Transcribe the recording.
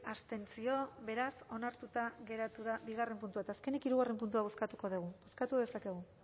abstentzio beraz onartuta geratu da bigarren puntua eta azkenik hirugarren puntua bozkatuko dugu bozkatu dezakegu